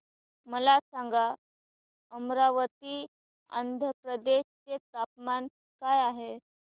मला सांगा अमरावती आंध्र प्रदेश चे तापमान काय आहे